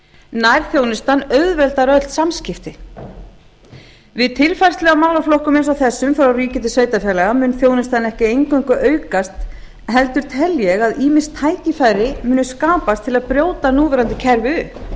nærþjónustan auðveldar öll samskipti við tilfærslu á málaflokkum eins og þessum frá ríki til sveitarfélaga mun þjónustan ekki eingöngu aukast heldur tel ég að ýmis tækifæri muni skapast til að brjóta núverandi kerfi upp